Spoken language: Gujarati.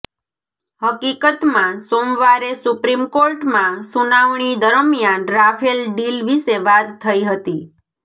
હકીકતમાં સોમવારે સુપ્રીમ કોર્ટમાં સુનાવણી દરમિયાન રાફેલ ડીલ વિશે વાત થઈ હતી